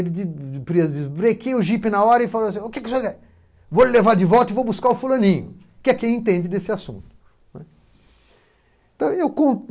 Ele desbrequeia o jipe na hora e falou assim O que que, vou levar de volta e vou buscar o fulaninho, que é quem entende desse assunto.